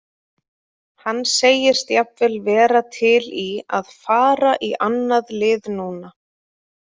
Hann segist jafnvel vera til í að fara í annað lið núna.